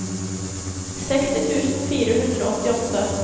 seksti tusen fire hundre og åttiåtte